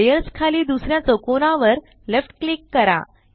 layers खाली दुसर्या चौकोना वर लेफ्ट क्लिक करा